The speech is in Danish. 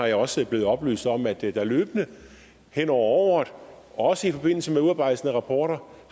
jeg også blevet oplyst om at der løbende hen over året også i forbindelse med udarbejdelsen af rapporter